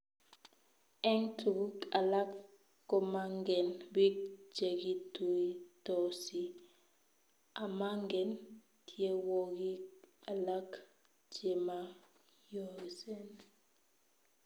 Eng tuguk alak komangen biik chekituitosi, amangen tyenwogik alak chemayosen